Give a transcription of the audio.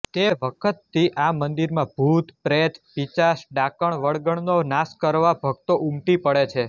તે વખતથી આ મંદિરમાં ભુતપ્રેતપિશાચડાકણવળગણનો નાશ કરવા ભક્તો ઉમટી પડે છે